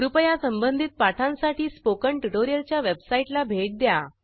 कृपया संबंधित पाठांसाठी स्पोकन ट्युटोरियलच्या वेबसाईटला भेट द्या